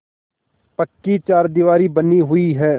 पक्की चारदीवारी बनी हुई है